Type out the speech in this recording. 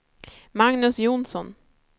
Magnus Johnsson